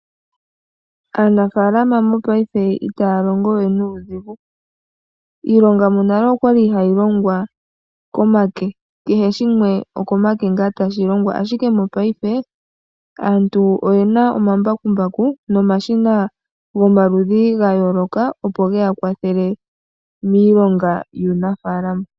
Aanafaalam mopaife itaya longo we nuudhigu. Iilonga monale oya li hayi longwa komake. Kehe shimwe monale okomake ngaa tashi longwa, ashike mopaife aantu oye na omambakumbaku nomashina gomaludhi ga yooloka, opo ge ya kwathele miilonga yuunafaalama.